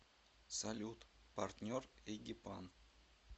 салют партнер эгипан